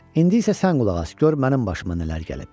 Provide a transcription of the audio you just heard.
İndi isə sən qulaq as, gör mənim başıma nələr gəlib.